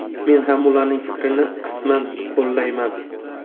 Men ham ularning fikrini qisman qo‘llayman.